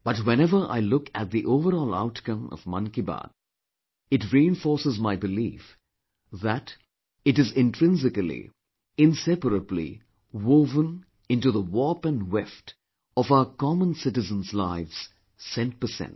But whenever I look at the overall outcome of 'Mann Ki Baat', it reinforces my belief, that it is intrinsically, inseparably woven into the warp & weft of our common citizens' lives, cent per cent